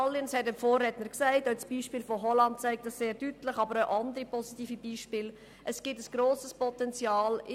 Es gibt ein grosses Potenzial bei den Strecken von ungefähr 5 Kilometern, die man mit dem Velo bequem zurücklegen kann.